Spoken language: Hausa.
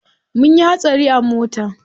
Munyi hatsari a mota.